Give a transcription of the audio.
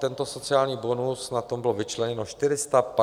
Tento sociální bonus, na ten bylo vyčleněno 450 milionů eur.